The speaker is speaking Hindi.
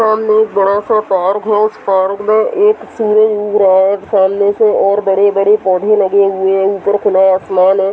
सामने एक बड़ा सा पहाड़ पहाड़ो में एक सूरज उग रहा है और सामने से और बड़े-बड़े पौधे लगे हुए है ऊपर खुला आसमान है |